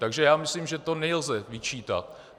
Takže já myslím, že to nelze vyčítat.